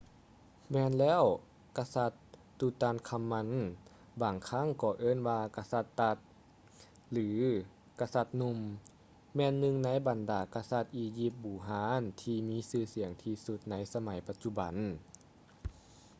ແມ່ນແລ້ວ ກະສັດ tutankhamun ບາງຄັ້ງກໍເອີ້ນວ່າ ກະສັດ tut ຫຼື ກະສັດໜຸ່ມ ແມ່ນໜຶ່ງໃນບັນດາກະສັດອີຢິບບູຮານທີ່ມີຊື່ສຽງທີ່ສຸດໃນສະໄໝປະຈຸບັນ